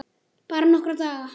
Bara nokkra daga.